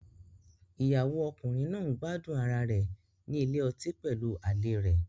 Ìyàwó ọkùnrin náà ń gbádùn ara rẹ̀ ní ilé ọtí pẹ̀lú àlè rẹ̀.